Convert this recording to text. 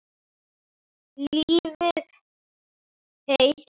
Lifið heil.